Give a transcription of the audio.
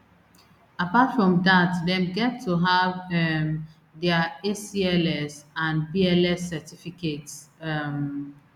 apart from dat dem get to have um dia acls and bls certificates um